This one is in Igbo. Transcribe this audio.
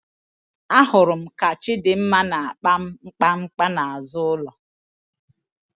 Ahụrụ m ka Chịdịmma na-akpa akpa n'azụ ụlọ.